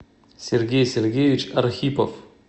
сергей сергеевич архипов